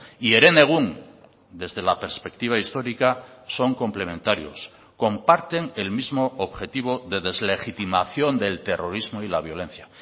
y herenegun desde la perspectiva histórica son complementarios comparten el mismo objetivo de deslegitimación del terrorismo y la violencia